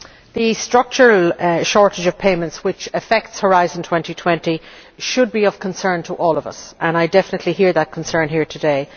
The structural shortage of payments which affects Horizon 2020 should be of concern to all of us, and I definitely hear that concern here today.